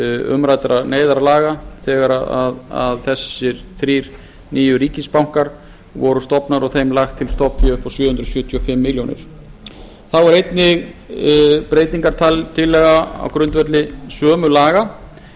umræddra neyðarlaga þegar hinir þrír nýju ríkisbankar voru stofnaðir og þeim lagt til stofnfé upp á sjö hundruð sjötíu og fimm milljónir króna þá er einnig breytingartillaga á grundvelli sömu laga